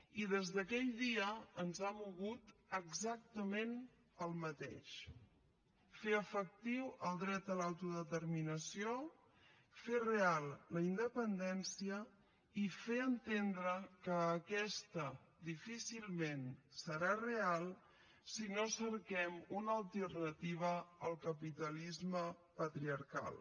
i des d’aquell dia ens ha mogut exactament el mateix fer efectiu el dret a l’autodeterminació fer real la independència i fer entendre que aquesta difícilment serà real si no cerquem una alternativa al capitalisme patriarcal